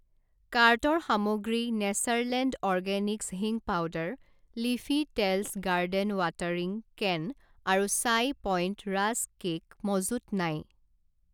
কাৰ্টৰ সামগ্ৰী Natureland organics হিঙ powder, Leafy Tales garden watering can আৰু চাই পইণ্ট ৰাস্ক কে'ক মজুত নাই।